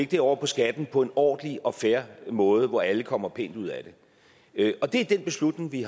det over på skatten på en ordentlig og fair måde hvor alle kommer pænt ud af det og det er den beslutning vi